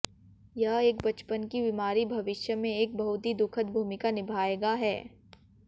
यह एक बचपन की बीमारी भविष्य में एक बहुत ही दुखद भूमिका निभाएगा है